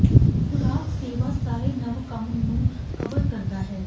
ਖੁਰਾਕ ਸੇਵਾ ਸਾਰੇ ਨਵ ਕੰਮ ਨੂੰ ਕਵਰ ਕਰਦਾ ਹੈ